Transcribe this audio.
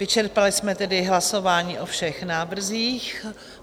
Vyčerpali jsme tedy hlasování o všech návrzích.